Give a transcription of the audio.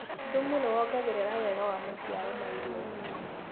Thumu nĩwongagĩrĩra wega wa maciaro ma irio.